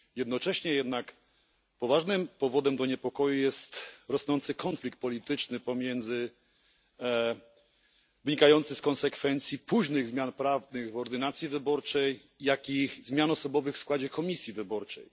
Jednocześnie jednak poważnym powodem do niepokoju jest rosnący konflikt polityczny wynikający z konsekwencji późnych zmian prawnych w ordynacji wyborczej, jak i zmian osobowych w składzie komisji wyborczej.